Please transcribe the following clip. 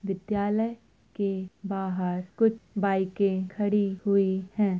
विद्यालय के बाहर कुछ बाइकें खड़ी हैं।